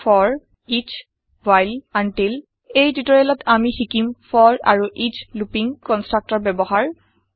for S 000049 000048 while until এই টিওটৰিয়েলত আমি শিকিম forআৰু এচ লুপিং কনষ্ট্ৰাক্টৰ ব্যৱহাৰ